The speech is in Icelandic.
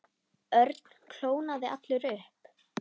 Örn kólnaði allur upp.